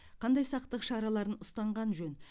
қандай сақтық шараларын ұстанған жөн